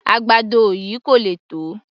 Àgbàdo yìí kò le tó